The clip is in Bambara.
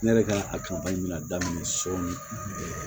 Ne yɛrɛ ka a kanpu bɛna daminɛ sɔɔni